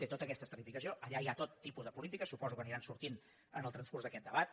té tota aquesta estratificació allà hi ha tot tipus de polítiques suposo que aniran sortint en el transcurs d’aquest debat